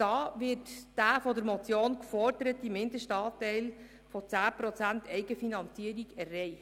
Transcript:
Hier wird der von der Motion geforderte Mindestanteil von 10 Prozent Eigenfinanzierung erreicht.